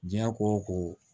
Diɲɛ ko o ko